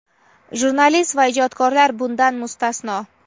jurnalist va ijodkorlar bundan mustasno.).